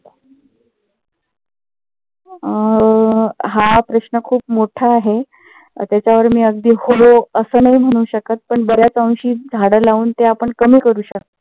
अं हा प्रश्न खूप मोठा आहे. त्याच्यावर मी अगदी हो अस नाही म्हणू शकत. पण बऱ्याच अंशी झाडं लावून ते आपण कमी करू शकतो.